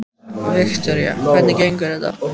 Viktoría: Hvernig gengur þetta?